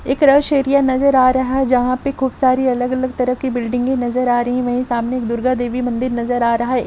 ये crush area नजर आ रहा है जहाँ पे खूब सारे अलग अलग तरह कि बिल्डिंग ये नजर आ रही है वही सामने दुर्गा देवि मंदिर नजर आ रहा हैं।